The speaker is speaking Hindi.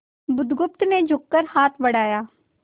बुधगुप्त ने झुककर हाथ बढ़ाया